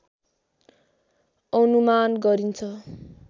अनुमान गरिन्छ